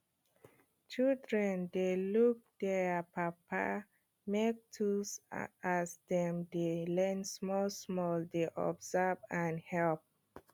children dey look dier papa make tools as dem de learn small small dey observe and help